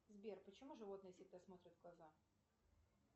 сбер почему животные всегда смотрят в глаза